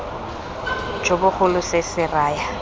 jo bogolo se se raya